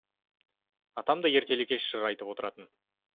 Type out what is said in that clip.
атам да ертелі кеш жыр айтып отыратын